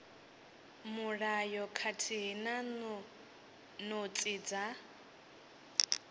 mulayo khathihi na notsi dza